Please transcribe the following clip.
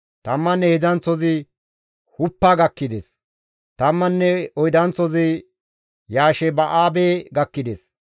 Tamman heedzdzanththozi Huppa gakkides; tamman oydanththozi Yasheba7aabe gakkides;